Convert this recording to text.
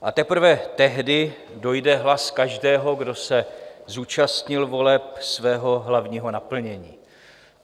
A teprve tehdy dojde hlas každého, kdo se zúčastnil voleb, svého hlavního naplnění.